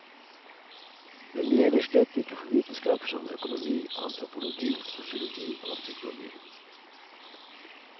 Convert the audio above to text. Men det gjelder slett ikke for vitenskaper som økonomi, antropologi, sosiologi og psykologi.